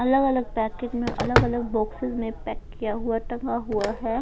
अलग-अलग पैकेट में अलग-अलग बॉक्सेस पैक किया हुआ टंगा हुआ है.